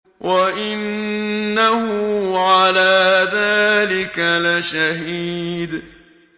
وَإِنَّهُ عَلَىٰ ذَٰلِكَ لَشَهِيدٌ